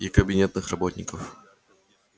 и кабинетных работников